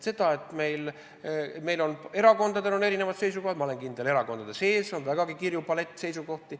Jah, erakondadel on erinevad seisukohad ja ma olen kindel, et ka erakondade sees on vägagi kirju palett seisukohti.